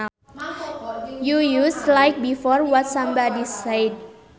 You use like before what somebody said